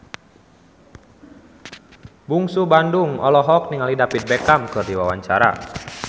Bungsu Bandung olohok ningali David Beckham keur diwawancara